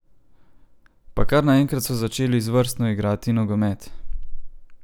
Pa kar naenkrat so začeli izvrstno igrati nogomet!